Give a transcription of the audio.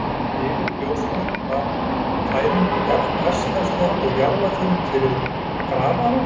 Fyrir ljósmóðurinni var fæðing jafn hversdagsleg og jarðarför fyrir grafara.